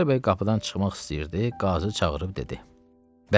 Xudayar bəy qapıdan çıxmaq istəyirdi, qazı çağırıb dedi.